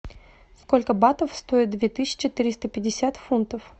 сколько батов стоит две тысячи триста пятьдесят фунтов